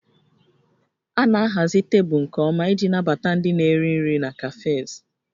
A na-ahazi tebụl nke ọma iji nabata ndị na-eri nri na cafes